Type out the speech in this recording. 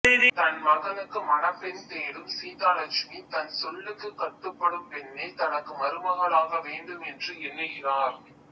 தன் மகனுக்கு மணப்பெண் தேடும் சீதாலட்சுமி தன் சொல்லுக்குக் கட்டுப்படும் பெண்ணே தனக்கு மருமகளாக வேண்டும் என்று எண்ணுகிறார்